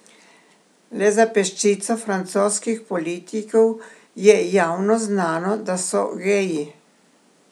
Le za peščico francoskih politikov je javno znano, da so geji.